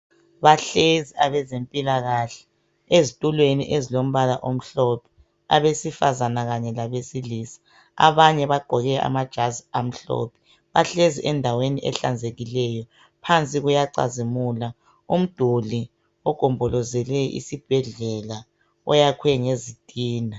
Bahlezi abezempilakahle ezitulweni ezilombala omhlophe, abesifazana kanye labesilisa abanye bagqoke amajazi amhlophe. Bahlezi endaweni ehlanzekileyo, phansi kuyacazimula umduli ogombolozele isibhedlela oyakhwe ngezitina.